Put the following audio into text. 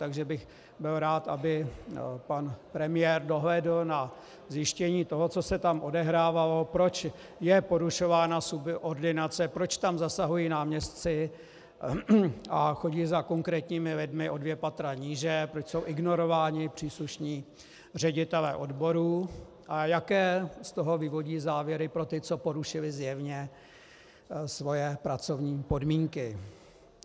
Takže bych byl rád, aby pan premiér dohlédl na zjištění toho, co se tam odehrávalo, proč je porušována subordinace, proč tam zasahují náměstci a chodí za konkrétními lidmi o dvě patra níže, proč jsou ignorováni příslušní ředitelé odborů a jaké z toho vyvodí závěry pro ty, co porušili zjevně svoje pracovní podmínky.